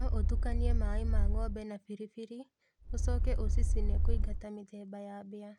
No ũtukanie mai ma ngombe na biribiri ũcoke ucicine kũingata mĩthemba ya mbĩa